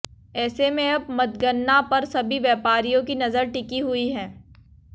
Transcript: ऐसे में अब मतगणना पर सभी व्यापारियों की नजर टिकी हुई है